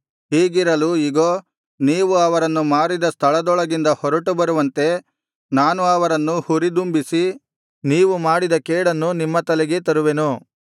ಹೀಗಿರಲು ಇಗೋ ನೀವು ಅವರನ್ನು ಮಾರಿದ ಸ್ಥಳದೊಳಗಿಂದ ಹೊರಟು ಬರುವಂತೆ ನಾನು ಅವರನ್ನು ಹುರಿದುಂಬಿಸಿ ನೀವು ಮಾಡಿದ ಕೇಡನ್ನು ನಿಮ್ಮ ತಲೆಗೇ ತರುವೆನು